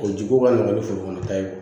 O ji ko ka nɔgɔn ni forokɔnɔ ta ye